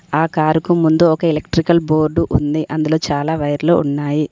ఆ కారుకు ముందు ఒక ఎలక్ట్రికల్ బోర్డు ఉంది అందులో చాలా వైర్లు ఉన్నాయి.